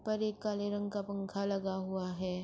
اپر ایک کالے رنگ کا پنکھا لگا ہوا ہے۔